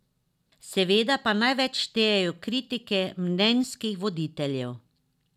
Seveda pa največ štejejo kritike mnenjskih voditeljev.